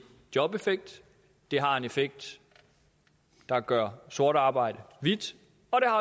jobeffekt det har en effekt der gør sort arbejde hvidt